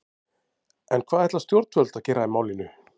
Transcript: En hvað ætla stjórnvöld að gera í málinu?